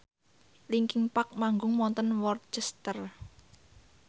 linkin park manggung wonten Worcester